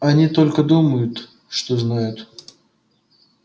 они только думают что знают